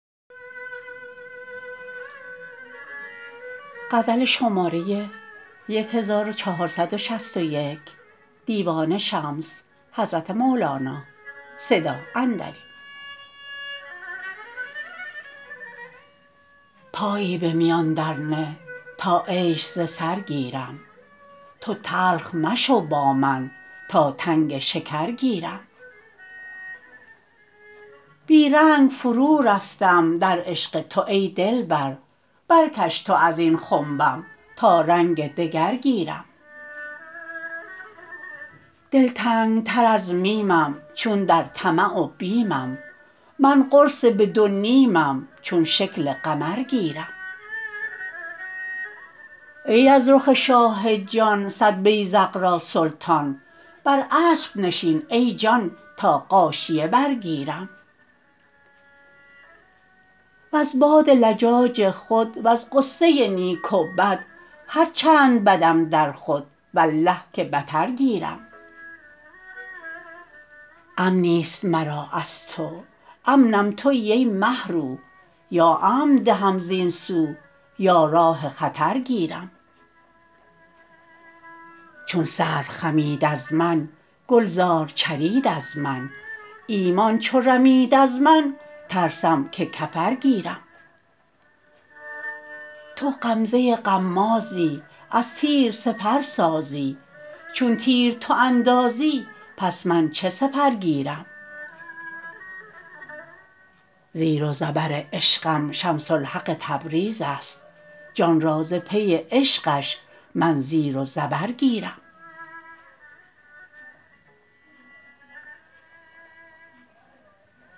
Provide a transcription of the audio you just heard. پایی به میان درنه تا عیش ز سر گیرم تو تلخ مشو با من تا تنگ شکر گیرم بی رنگ فرورفتم در عشق تو ای دلبر برکش تو از این خنبم تا رنگ دگر گیرم دلتنگتر از میمم چون در طمع و بیمم من قرص به دو نیمم چون شکل قمر گیرم ای از رخ شاه جان صد بیذق را سلطان بر اسب نشین ای جان تا غاشیه برگیرم وز باد لجاج خود وز غصه نیک و بد هر چند بدم در خود والله که بتر گیرم امنی است مرا از تو امنم توی ای مه رو یا امن دهم زین سو یا راه خطر گیرم چون سرو خمید از من گلزار چرید از من ایمان چو رمید از من ترسم که کفر گیرم تو غمزه غمازی از تیر سپر سازی چون تیر تو اندازی پس من چه سپر گیرم زیر و زبر عشقم شمس الحق تبریز است جان را ز پی عشقش من زیر و زبر گیرم